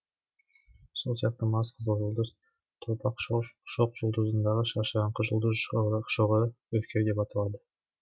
сол сияқты марс қызыл жұлдыз торпақ шоқжұлдызындагы шашыраңқы жұлдыз шоғыры үркер деп аталады